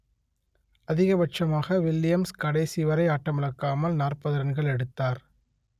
அதிகபட்சமாக வில்லியம்ஸ் கடைசி வரை ஆட்டமிழக்காமல் நாற்பது ரன்கள் எடுத்தார்